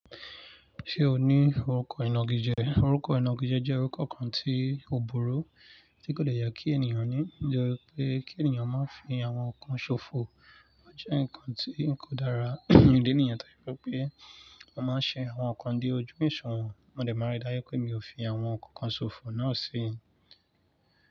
Ṣé o ní orúkọ ìnagijẹ? Orúkọ ìnagijẹ jẹ́ orúkọ kan tí ò burú, tí kò dẹ́yà kí ènìyàn ní. Ǹjẹ́ pé kí ènìyàn máa fi àwọn nǹkan ṣòfò ó jẹ́ ǹkan tí kò dára ìdí nìyen tó fi jẹ́ pé a máa ń ṣe àwọn nǹkan dé ojú òsùwọ̀n. Mo dè máa n rí dáju wi pé mi ò fi àwọn nǹkan kan ṣòfò náà si.